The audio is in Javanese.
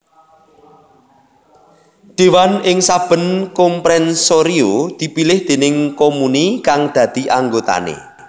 Déwan ing saben comprensorio dipilih déning comuni kang dadi anggotané